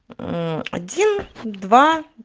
один два